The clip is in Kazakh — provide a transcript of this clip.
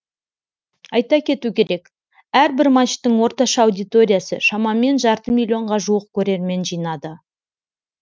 айта кету керек әрбір матчтың орташа аудиториясы шамамен жарты миллионға жуық көрермен жинады